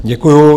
Děkuji.